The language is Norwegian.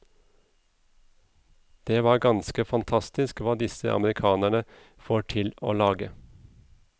Det var ganske fantastisk hva disse amerikanerne får til å lage.